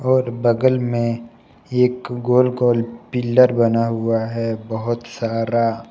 और बगल में एक गोल गोल पिलर बना हुआ है बहुत सारा।